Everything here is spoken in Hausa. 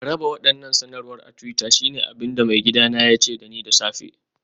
Raba waɗannan sanarwar a twitter shine abin da maigidana ya ce da ni da safe